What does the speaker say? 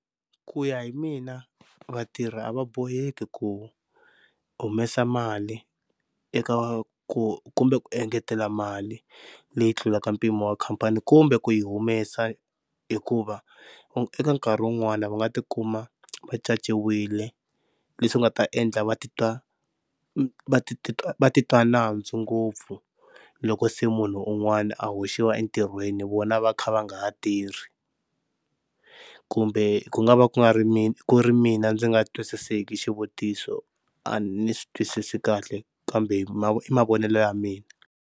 Ku ya hi mina vatirhi a va boheki ku humesa mali eka ku kumbe ku engetela mali leyi tlulaka mpimo wa khampani kumbe ku yi humesa, hikuva eka nkarhi wun'wana va nga ti kuma va canciwile leswi nga ta endla va titwa va titwa va va titwa nandzu ngopfu loko se munhu un'wana a hoxiwa entirhweni vona va kha va nga ha tirhi. Kumbe ku nga va ku nga ri mina ku ri mina ndzi nga twisiseki xivutiso a ni swi twisisi kahle kambe i mavonelo ya mina.